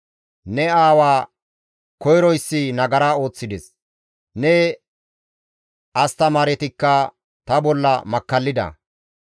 Ne aawa koyroyssi nagara ooththides; ne astamaaretikka ta bolla makkallida.